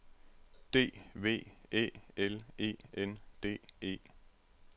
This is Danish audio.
D V Æ L E N D E